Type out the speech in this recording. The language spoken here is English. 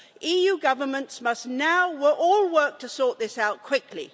EU governments must now all work to sort this out quickly.